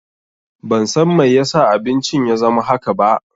Ban san mai ya sa abincin ya zama haka ba.